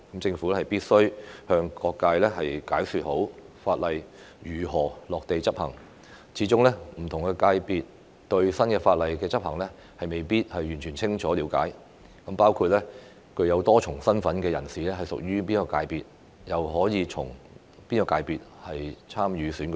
政府必須向各界好好解說法例如何落地執行，始終不同界別對新法例的執行未必完全清楚了解，包括具多重身份的人士屬於哪個界別、可以循哪個界別參與選舉等。